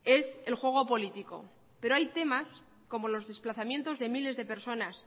es el juego político pero hay temas como los desplazamientos de miles de personas